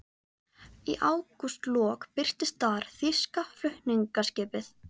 Í ágústlok birtist þar þýska flutningaskipið